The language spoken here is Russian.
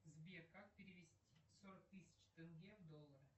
сбер как перевести сорок тысяч тенге в доллары